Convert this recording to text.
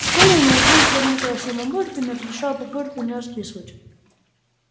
в школе они учились в одном классе и мамулька не разрешала папульке у неё списывать